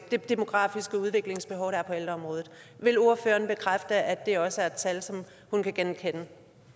det demografiske udviklingsbehov der er på ældreområdet vil ordføreren bekræfte at det også er et tal som hun kan genkende